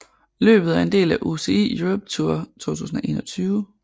Løbet er en del af UCI Europe Tour 2021